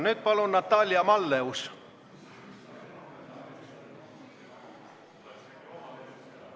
Nüüd palun Natalia Malleus!